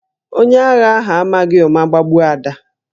Onye agha ahụ amaghị ụma gbagbuo Ada